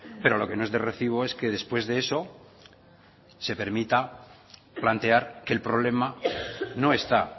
pero lo que no es de recibo es que después de eso se permita plantear que el problema no está